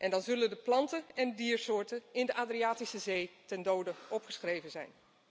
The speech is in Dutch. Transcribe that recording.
Dan zullen de plant en diersoorten in de Adriatische Zee ten dode opgeschreven zijn.